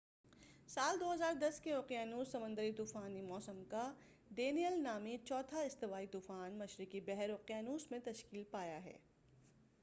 سال 2010ء کے اوقیانوس سمندری طوفانی موسم کا ڈینیئل نامی چوتھا استوائی طوفان مشرقی بحر اوقیانوس میں تشکیل پایا ہے